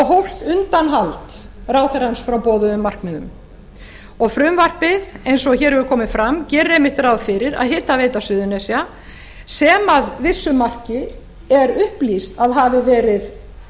hófst undanhald ráðherrans frá boðuðum markmiðum og frumvarpið eins og hér hefur komið fram gerir einmitt ráð fyrir að hitaveita suðurnesja sem að vissu marki er upplýst að hafi verið